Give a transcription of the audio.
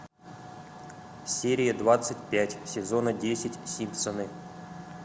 серия двадцать пять сезона десять симпсоны